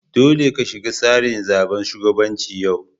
Dolle ka shiga tsarin zaben shugabancin yau!